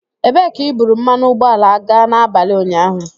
Ebee ka i buru mmanụ ụgbọala gaa n'abalị ụnyaahụ?